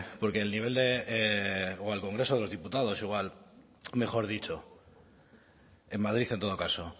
porque el nivel de o al congreso de los diputados mejor dicho en madrid en todo caso